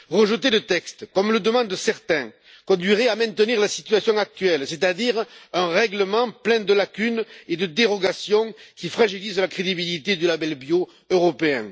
Rejeter le texte, comme le demandent certains, conduirait à maintenir la situation actuelle, c'est à dire un règlement plein de lacunes et de dérogations qui fragilise la crédibilité du label bio européen.